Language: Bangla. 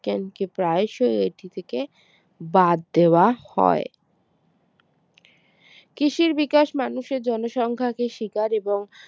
বিজ্ঞানকে প্রায়শই এটি থেকে বাদ দেওয়া হয় কৃষির বিকাশ মানুষের জনসংখ্যা কে শিকার এবং